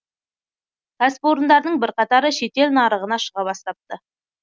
кәсіпорындардың бірқатары шетел нарығына шыға бастапты